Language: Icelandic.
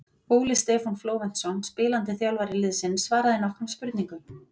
Óli Stefán Flóventsson spilandi þjálfari liðsins svaraði nokkrum spurningum.